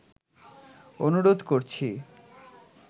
অনুরোধ করছি'